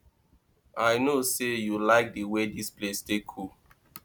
i no say you like the way dis place take cool